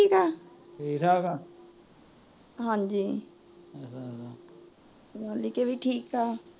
ਹਾਂਜੀ ਲਾਲੀ ਕੇ ਵੀ ਠੀਕ ਤਾ